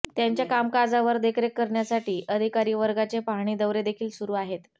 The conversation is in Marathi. त्यांच्या कामकाजावर देखरेख करण्यासाठी अधिकारीवर्गाचे पाहणी दौरे देखील सुरू आहेत